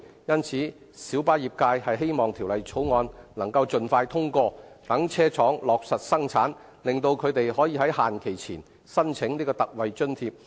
因此，小巴業界希望《條例草案》能夠盡快通過，讓車廠落實生產，令他們可於限期前申請特惠津貼。